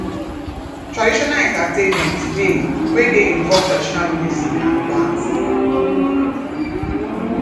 traditional entertainment de wey de involve traditional music and dance